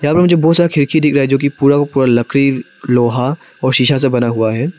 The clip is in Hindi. बहुत सारा खिड़की दिख रहा है जो की पूरा का पूरा लकड़ी लोहा और शीशा से बना हुआ है।